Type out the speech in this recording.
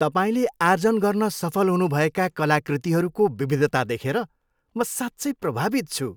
तपाईँले आर्जन गर्न सफल हुनुभएका कलाकृतिहरूको विविधता देखेर म साँच्चै प्रभावित छु।